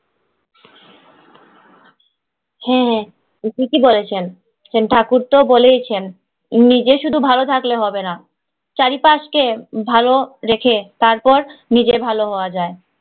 হ্যাঁ হ্যাঁ, ঠিকই বলেছেন। ঠাকুর তো বলেই ছেন, নিজে শুধু ভালো থাকলে হবে না, চারিপাশ কে ভালো রেখে তারপর নিজে ভালো হওয়া যায়।